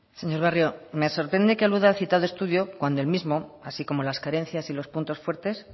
señor barrio me sorprende que aluda al citado estudio cuando el mismo así como las carencias y los puntos fuertes